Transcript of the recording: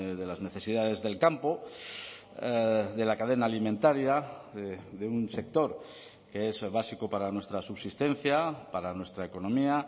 de las necesidades del campo de la cadena alimentaria de un sector que es básico para nuestra subsistencia para nuestra economía